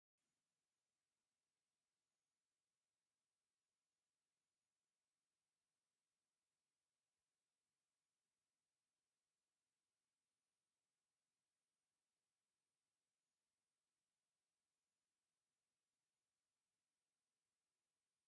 እሰይ! ደስ ዝብሉ ቡዙሓት ዓበይትን ሉሙዓትን ዝኮኑ ሓምለዎት ተክሊታት አብ ወሰን ፅርጊያ መልክዐኛ እምኒ ዝተነፀፎ ቦታ ጠጠው ኢሎም ይርከቡ፡፡ አብ ጥቅኦም ከዓ ብፃዕዳን ፀሊምን ዝተለመፁ መንድቃት ይርከቡዎ፡፡